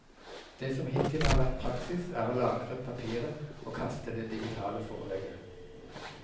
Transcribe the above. Det som hittil har vært praksis er å lagre papiret og kaste det digitale forelegget.